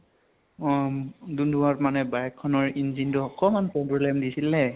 অম । দুম্দুমাত মানে bike খনৰ engine টো অকমান problem দিছিলে